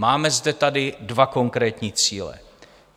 Máme zde tady dva konkrétní cíle.